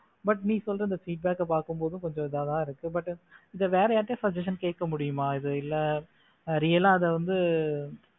but நீ சொல்ற இந்த feedback பார்க்கும் போது கொஞ்சம் இதா தான் இருக்கும் but இது வேற யார்கிட்டயாவது suggestion கேட்க முடியுமா இது இல்ல real ஆ அது வந்து